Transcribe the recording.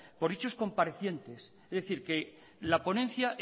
por dichos comparecientes es decir que la ponencia